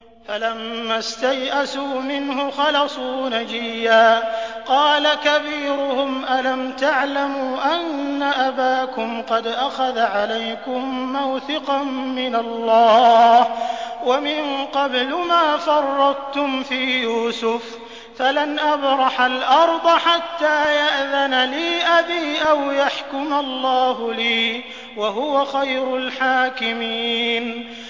فَلَمَّا اسْتَيْأَسُوا مِنْهُ خَلَصُوا نَجِيًّا ۖ قَالَ كَبِيرُهُمْ أَلَمْ تَعْلَمُوا أَنَّ أَبَاكُمْ قَدْ أَخَذَ عَلَيْكُم مَّوْثِقًا مِّنَ اللَّهِ وَمِن قَبْلُ مَا فَرَّطتُمْ فِي يُوسُفَ ۖ فَلَنْ أَبْرَحَ الْأَرْضَ حَتَّىٰ يَأْذَنَ لِي أَبِي أَوْ يَحْكُمَ اللَّهُ لِي ۖ وَهُوَ خَيْرُ الْحَاكِمِينَ